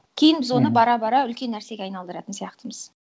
кейін біз оны бара бара үлкен нәрсеге айналдыратын сияқтымыз